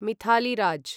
Mithali Raj